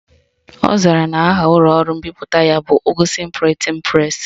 Ọ zara na aha ụlọọrụ mbipụta ya bụ Ugwuson Printing Press